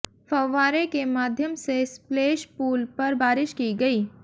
फव्वारे के माध्यम से स्पलैश पूल पर बारिश की गई